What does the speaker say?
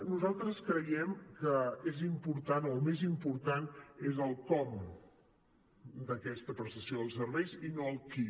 nosaltres creiem que el més important és el com d’aquesta prestació dels serveis i no el qui